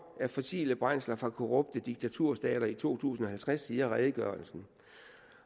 af fossile brændsler fra korrupte diktaturstater i to tusind og halvtreds siger redegørelsen